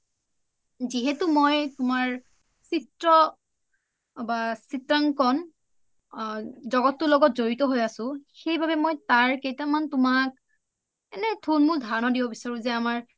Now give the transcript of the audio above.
যিহেতু মই তোমাৰ চিএ বা চিএাকন জগতটোৰ লগত যৰিত হয় আছো সেইবাবে মই তাৰ কেইতামান তুমাক এনে থুলমুল ধাৰনীয় দিছো যে আমাৰ